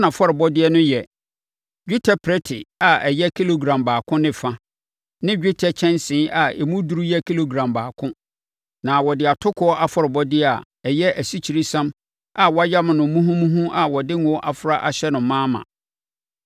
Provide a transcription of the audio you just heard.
Na nʼafɔrebɔdeɛ no yɛ: dwetɛ prɛte a ɛyɛ kilogram baako ne fa ne dwetɛ kyɛnsee a emu duru yɛ kilogram baako. Na wɔde atokoɔ afɔrebɔdeɛ a ɛyɛ asikyiresiam a wɔayam no muhumuhu a wɔde ngo afra ahyɛ no ma ma.